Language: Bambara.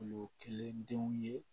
Kulo kelen denw ye